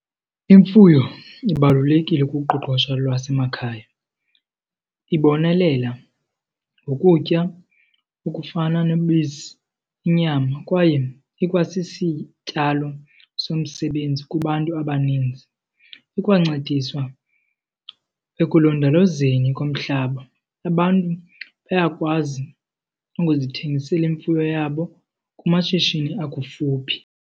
Imfuyo ibalulekile kuqoqosha lwasemakhaya. Ibonelela ngokutya okufana nobisi, inyama kwaye ikwasisityalo somsebenzi kubantu abaninzi, ikwancedisa ekulondolozeni komhlaba. Abantu bayakwazi ukuzithengisela imfuyo yabo kumashishini akufuphi.